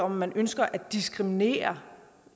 man ønsker at diskriminere